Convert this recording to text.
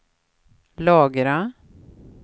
lagra